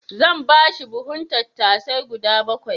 Zan ba shi buhun tattasai guda bakwai.